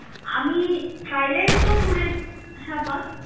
আমি থাইল্যান্ড তো ঘুরে~ হ্যা বল